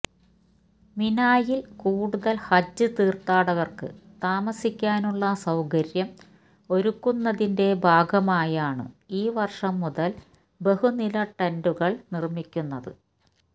മിനായില് കൂടുതല് ഹജ്ജ് തീര്ഥാടകര്ക്ക് താമസിക്കാനുള്ള സൌകര്യം ഒരുക്കുന്നതിന്റെ ഭാഗമായാണ് ഈ വര്ഷം മുതല് ബഹുനില ടെന്റുകള് നിര്മിക്കുന്നത്